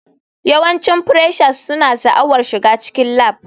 Yawancin freshers suna sha'awar shiga cikin lab.